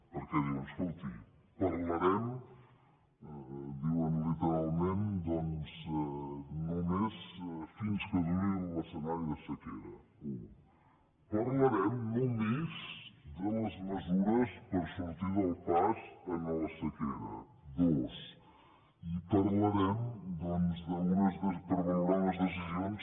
perquè diuen escolti parlarem diuen literalment només fins que duri l’escenari de sequera u parlarem només de les mesures per sortir del pas en la sequera dos i parlarem per valorar unes decisions